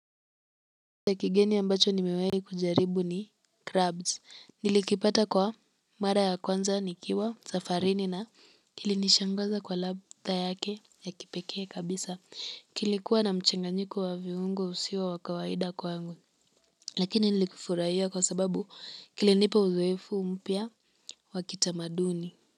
Ya kigeni ambacho nimewahi kujaribu ni crabs nilikipata kwa mara ya kwanza nikiwa safarini na kilinishangaza kwa ladha yake ya kipekee kabisa kilikuwa na mchanganyiko wa viungo usio wa kawaida kwangu lakini nilifurahia kwa sababu kilinipa uzoefu mpya wa kitamaduni.